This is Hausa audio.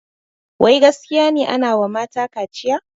Wai gaskiya ne anawa mata kaciya?